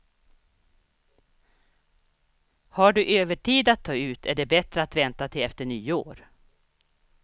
Har du övertid att ta ut är det bättre att vänta till efter nyår.